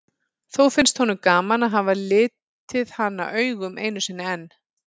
Þó finnst honum gaman að hafa litið hana augum einu sinni enn.